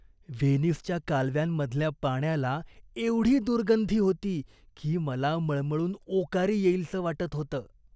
व्हेनिसच्या कालव्यांमधल्या पाण्याला एवढी दुर्गंधी होती की मला मळमळून ओकारी येईलसं वाटत होतं.